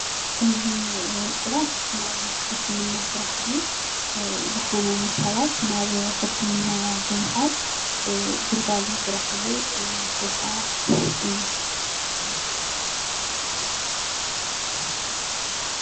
እዚ ሰራሕ ናይ ሕክምና ስራሕ እዩ። ዝሓመሙ ሰባት ናብ ሕክምና ብምካድ ግልጋሎት ዝረክብሉ ቦታ እዩ።